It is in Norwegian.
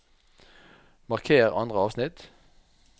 Marker andre avsnitt